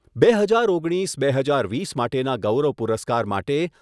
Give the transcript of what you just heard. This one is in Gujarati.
બે હજાર ઓગણીસ બે હજાર વીસ માટેના ગૌરવ પુરસ્કાર માટે